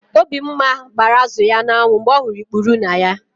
Obimma gbara azụ ya n'anwụ mgbe ọ hụrụ ikpuru na ya.